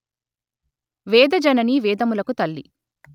వేదజననీ వేదములకు తల్లి